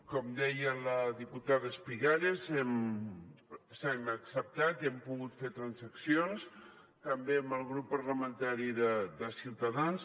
com deia la diputada espigares hem acceptat i hem pogut fer transaccions també amb el grup parlamentari de ciutadans